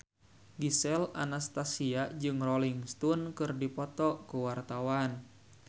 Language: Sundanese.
Gisel Anastasia jeung Rolling Stone keur dipoto ku wartawan